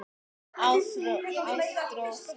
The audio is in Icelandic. Ástrós mín.